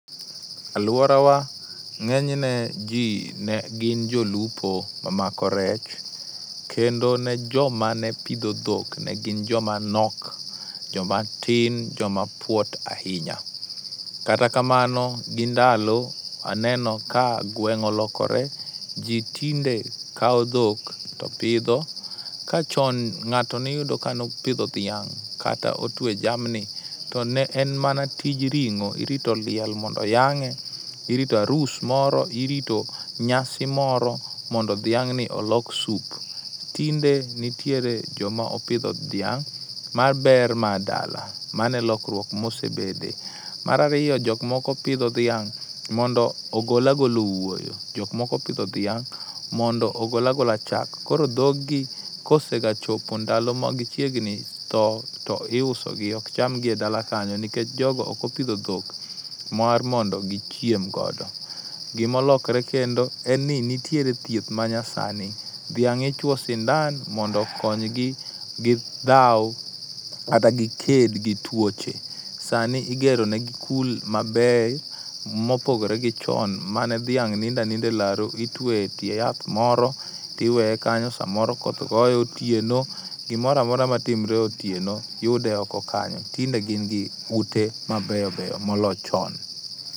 Aluorawa ng'enyne ji ne gin jolupo mamako rech, kendo ne joma ne pidho dhok ne gin joma tin, joma nok ,joma puot ahinya. Kata kamano gi ndalo aneno ka gweng' olokore ji tinde kawo dhok to pidho. Ka chon ng'ato ne iyudo ka ne opidho dhiang' kata otwe jamni to ne en mana tij ring'o, irito liel mondo oyang'e, irito arus moro, irito nyasi moro mondo dhiang'ni olok soup. Tinde nitiere joma opidho dhiang' mar ber mar dala. Mano e lokruok ma osebetie. Mar ariyo jok moko pidho dhiang' mondo ogol agola owuoyo, jok moko pidho dhiang' mondo ogol agola chak. Koro dhogi kosega chopo ndalo magichiegni tho to iusogi, ok chamgi e dala kanyo nikech jogo ok opidho dhok mar mondo gichiem godo. Gima olokore kendo en ni niiere thieth manyasani, dhiang' ichuoyo sindan mondo okony gi dhaw kata giked gi tuoche. Sani igero negi kul maber mopogore gi chon mane dhiang' nindo aninda e laro itueyo etie yath moro, to iweye kanyo samoro koth goye otieno, gimoro amora matimore otineo yude oko kanyo. Tinde gin gi ute mabeyo beyo moloyo chon.